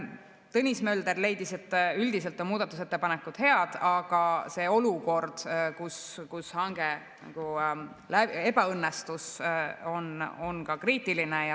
Tõnis Mölder leidis, et üldiselt on muudatusettepanekud head, aga see olukord, kus hange ebaõnnestus, on kriitiline.